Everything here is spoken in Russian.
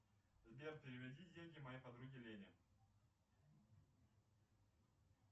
сбер переведи деньги моей подруге лене